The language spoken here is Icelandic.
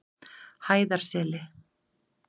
Hæðarseli